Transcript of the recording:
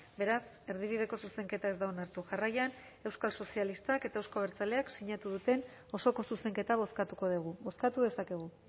beraz erdibideko zuzenketa ez da onartu jarraian euskal sozialistak eta euzko abertzaleak sinatu duten osoko zuzenketa bozkatuko dugu bozkatu dezakegu